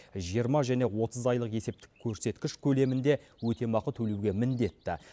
жиырма және отыз айлық есептік көрсеткіш көлемінде өтемақы төлеуге міндетті